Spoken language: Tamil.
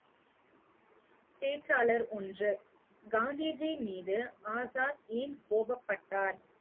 பேச்சாளர் ஒன்று, காந்திஜி மீது ஆசாத் ஏன் கோபப்பட்டார்